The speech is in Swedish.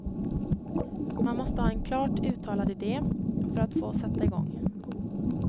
Man måste ha en klart uttalad idé för att få sätta igång.